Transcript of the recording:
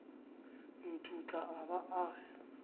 ithutla a ba a re